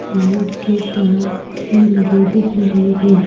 Light के तार भीलगे दिख रहे हैं।